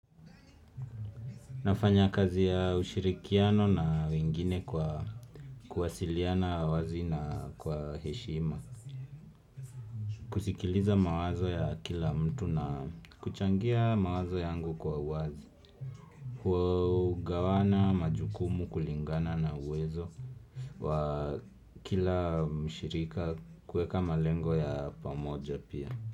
Nafanya kazi ya ushirikiano na wengine kwa kuwasiliana wazi na kwa heshima. Kusikiliza mawazo ya kila mtu na kuchangia mawazo yangu kwa uwazi. Kugawana majukumu kulingana na uwezo wa kila mshirika kuweka malengo ya pamoja pia.